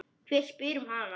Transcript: Hver spyr um hana?